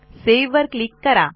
save वर click करा